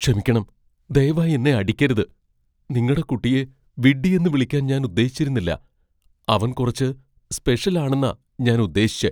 ക്ഷമിക്കണം, ദയവായി എന്നെ അടിക്കരുത്. നിങ്ങടെ കുട്ടിയെ വിഡ്ഢിയെന്ന് വിളിക്കാൻ ഞാൻ ഉദ്ദേശിച്ചിരുന്നില്ല. അവൻ കുറച്ച് സ്പെഷ്യൽ ആണെന്നാ ഞാൻ ഉദ്ദേശിച്ചെ.